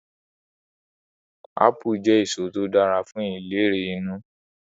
Apulu je eso to dara fun ilere inu